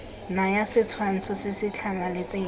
naya setshwantsho se se tlhamaletseng